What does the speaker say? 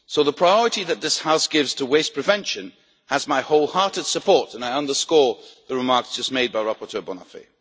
waste. So the priority that this House gives to waste prevention has my wholehearted support and I underscore the remarks just made by rapporteur